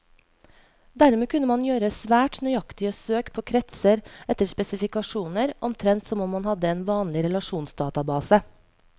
Dermed kunne man gjøre svært nøyaktige søk på kretser etter spesifikasjoner, omtrent som om man hadde en vanlig relasjonsdatabase.